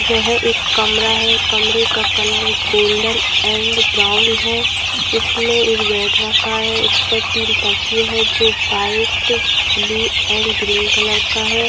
यह एक कमरा है कमरे का कलर गोल्डन एंड ब्राउन है इसमें एक बेड रखा है उस पर तीन तकिये हैं जो white blue and green colour का है।